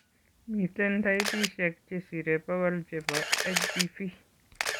Miten taipisiek chesiree bokol chebo HPV